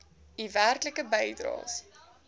u werklike bydraes